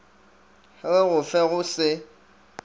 re go fe go se